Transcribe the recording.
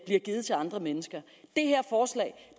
givet til andre mennesker